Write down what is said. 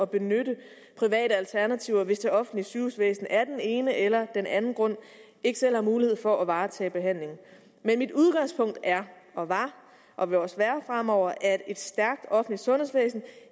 benytte private alternativer hvis det offentlige sygehusvæsen af den ene eller den anden grund ikke selv har mulighed for at varetage behandlingen men mit udgangspunkt er var var og vil også være fremover at et stærkt offentligt sundhedsvæsen